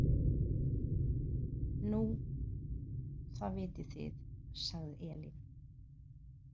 Nú, það vitið þið, sagði Elín.